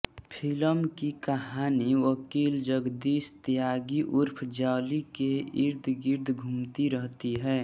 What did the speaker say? film की कहानी वकील जगदीश त्यागी ऊर्फ जॉली के इर्दगिर्द घूमती रहती है